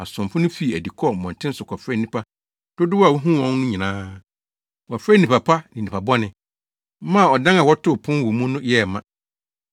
Asomfo no fii adi kɔɔ mmɔnten so kɔfrɛɛ nnipa dodow a wohuu wɔn no nyinaa. Wɔfrɛɛ nnipa pa ne nnipa bɔne, maa ɔdan a wɔtoo pon wɔ mu no yɛɛ ma.